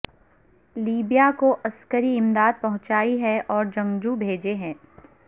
Libya کو عسکری امداد پہنچائی ہے اور جنگجو بھیجے ہیں